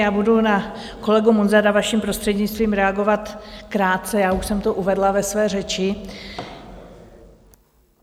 Já budu na kolegu Munzara, vaším prostřednictvím, reagovat krátce, já už jsem to uvedla ve své řeči.